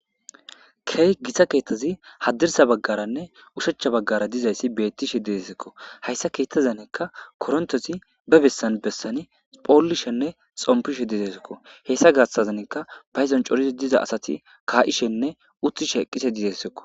Key gisa keettazi haddirsa baggaranne ushechcha baggara dizayssi beettishe deesekko hayssa keettazanekka korontozi be bessan bessani phoolishenne xompishe dizeesekko hessa gaassazaneka payzon corisi diza asati ka'ishenne uttishe eqqishe dizessekko.